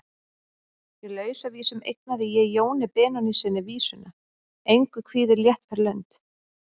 Í Lausavísum eignaði ég Jóni Benónýssyni vísuna: Engu kvíðir léttfær lund.